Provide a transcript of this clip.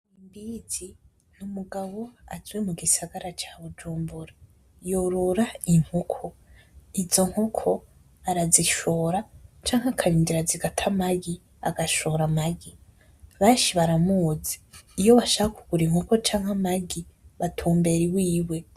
Mbizi n’umugabo aje mu gisagara ca Bujumbura yorora inkoko izo nkoko arazishora canke akarindira zigata amagi canke agashora amagi beshi baramuzi iyo bashaka kugura inkoko canke amagi batumbera iwiwe.